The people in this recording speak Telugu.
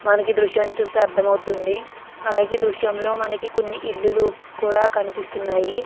మనకి దృశ్యాన్ని చూసి అర్థం అవుతుంది. అలాగే దృశ్యంలో మనకి కొన్ని ఇల్లులు కూడా కనిపిస్తున్నాయి.